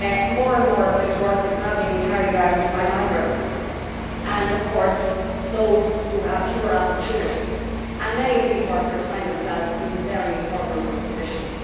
More and more of this work is now being carried out by migrants, and of course those who have fewer opportunities, and many of these workers find themselves in very vulnerable positions.